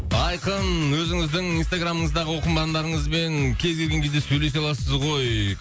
айқын өзіңіздің инстаграмыңыздағы оқырмандарыңызбен кез келген кезде сөйлесе аласыз ғой